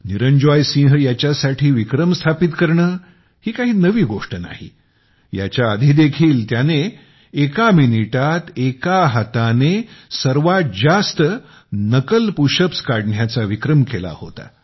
निरंजॉय सिंह ह्याच्यासाठी विक्रम स्थापित करणे ही काही नवी गोष्ट नाही याच्याआधी देखील त्याने एका मिनिटात एका हाताने सर्वात जास्त नकल पुशअप्स करण्याचा विक्रम केला होता